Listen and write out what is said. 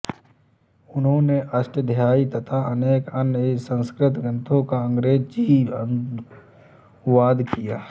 उन्होने अष्टाध्यायी तथा अनेक अन्य संस्कृत ग्रन्थों का अंग्रेजी अनुवाद किया